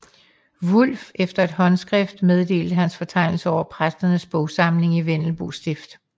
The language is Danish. Wulff efter et håndskrift meddelt hans fortegnelse over præsternes bogsamlinger i Vendelbo stift